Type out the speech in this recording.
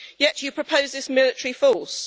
Yet you propose this military force.